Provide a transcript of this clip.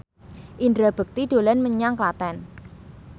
Indra Bekti dolan menyang Klaten